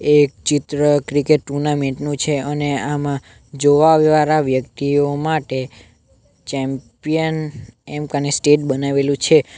એ ચિત્ર cricket tournament નું છે અને આમાં જોવા વાળા વ્યક્તિઓ માટે ચેમ્પિયન એમક અને સ્ટેટ બનાવેલું છે.